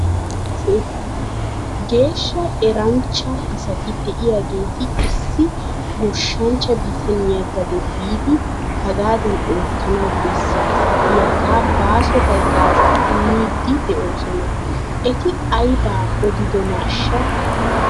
Geeshsha eranchcha asati de'iyaageeti issi goshshanchcha bitaniyaa gade biidi hagaadan oottanawu besaasa giyaagaa baaso hagaazaa immiidi de'oosona. Eti aybaa aybbaa odiddonaashsha ?